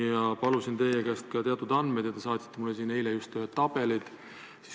Ma palusin teie käest ka teatud andmeid ja te saatsite eile ühed tabelid.